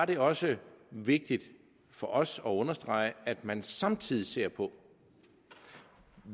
det også vigtigt for os at understrege at man samtidig ser på